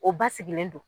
O basigilen don